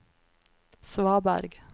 svaberg